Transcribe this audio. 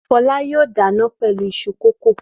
Fọlá yóò dáná pẹ̀lú iṣu kòkó.